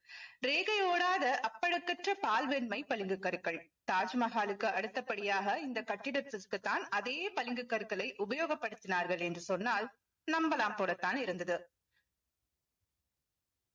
ரேகை ஓடாத அப்பழுக்கற்ற பால்வெண்மை பலிங்கு கற்கள் தாஜ்மஹாலுக்கு அடுத்தபடியாக இந்த கட்டிடத்திற்கு தான் அதே பளிங்கு கற்களை உபயோகப்படுத்தினார்கள் என்று சொன்னால் நம்பலாம் போலத்தான் இருந்தது